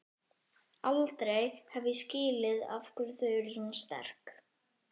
Aldrei hef ég skilið af hverju þau voru svona sterk.